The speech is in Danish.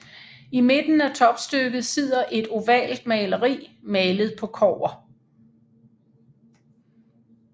I midten af topstykket sidder et ovalt maleri malet på kobber